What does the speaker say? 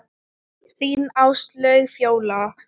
Þín Áslaug Fjóla.